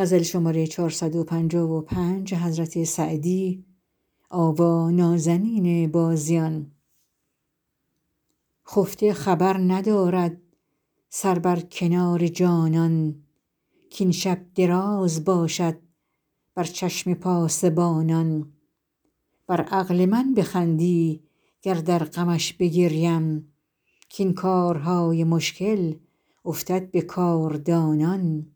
خفته خبر ندارد سر بر کنار جانان کاین شب دراز باشد بر چشم پاسبانان بر عقل من بخندی گر در غمش بگریم کاین کارهای مشکل افتد به کاردانان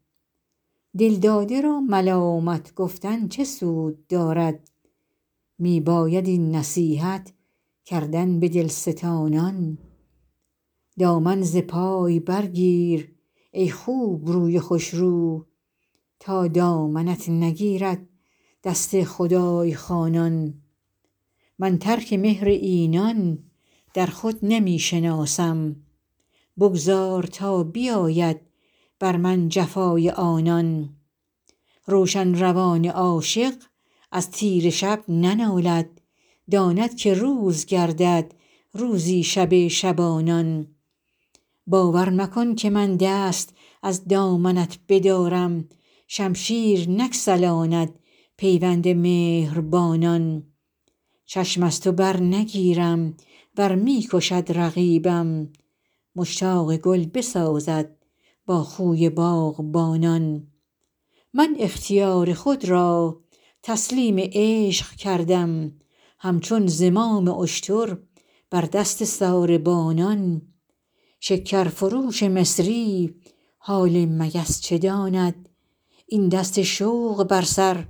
دلداده را ملامت گفتن چه سود دارد می باید این نصیحت کردن به دلستانان دامن ز پای برگیر ای خوبروی خوشرو تا دامنت نگیرد دست خدای خوانان من ترک مهر اینان در خود نمی شناسم بگذار تا بیاید بر من جفای آنان روشن روان عاشق از تیره شب ننالد داند که روز گردد روزی شب شبانان باور مکن که من دست از دامنت بدارم شمشیر نگسلاند پیوند مهربانان چشم از تو برنگیرم ور می کشد رقیبم مشتاق گل بسازد با خوی باغبانان من اختیار خود را تسلیم عشق کردم همچون زمام اشتر بر دست ساربانان شکرفروش مصری حال مگس چه داند این دست شوق بر سر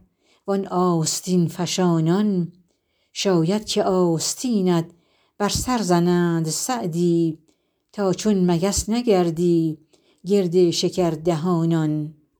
وان آستین فشانان شاید که آستینت بر سر زنند سعدی تا چون مگس نگردی گرد شکردهانان